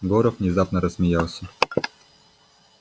горов внезапно рассмеялся